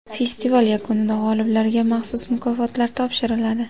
Festival yakunida g‘oliblarga maxsus mukofotlar topshiriladi.